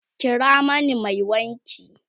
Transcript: kira mana Mai wanki!